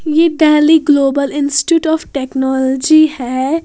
यह पहली global institute of technology है।